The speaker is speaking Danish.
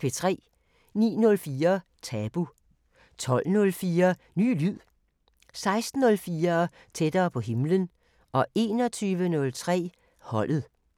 09:04: Tabu 12:04: Ny lyd 16:04: Tættere på himlen 21:03: Holdet